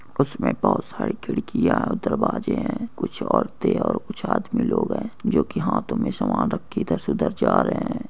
कुछ में बोहोत साड़ी खिड़किया दरवाजे है कुछ औरते और कुछ आदमी लोग है जो हाथो में सामान रख के इधर से उधर जा रहे है।